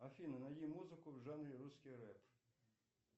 афина найди музыку в жанре русский рэп